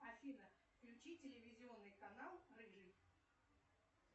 афина включи телевизионный канал рыжий